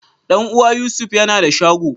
Dan uwa Yusuf yana da shago.